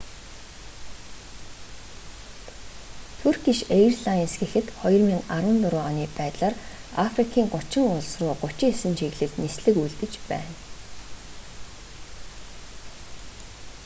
туркиш эйрлайнс гэхэд 2014 оны байдлаар африкийн 30 улс руу 39 чиглэлд нислэг үйлдэж байна